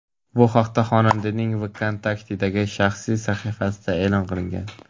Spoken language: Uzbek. Bu haqda xonandaning "Vkontakte"dagi shaxsiy sahifasida e’lon qilingan.